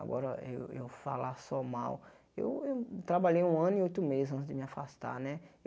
Agora eu eu falar só mal, eu eu trabalhei um ano e oito meses antes de me afastar né.